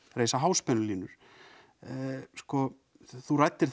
reisa háspennulínur þú ræddir